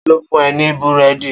Ta ló fún ẹ ní Búrẹ́dì?